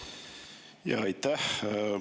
Jaa, aitäh!